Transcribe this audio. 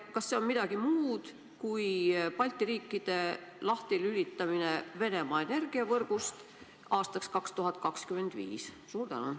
Kas see on midagi muud kui Balti riikide lahtilülitamine Venemaa energiavõrgust, mis peaks tehtud saama aastaks 2025?